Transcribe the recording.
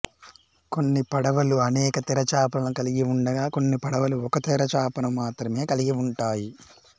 కొన్ని పడవలు అనేక తెరచాపలను కలిగి ఉండగా కొన్ని పడవలు ఒక తెరచాపను మాత్రమే కలిగి ఉంటాయి